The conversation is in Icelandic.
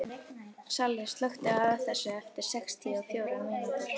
Salli, slökktu á þessu eftir sextíu og fjórar mínútur.